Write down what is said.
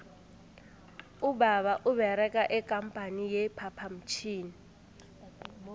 ubaba uberega ikampani ye phaphamtjhini